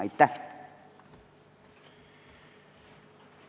Aitäh!